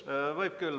Jah, võite küll.